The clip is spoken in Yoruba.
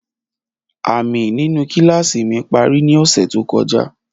Aami ninu kilasi mi pari ni ọsẹ to kọja.